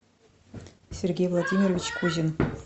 сергей владимирович кузин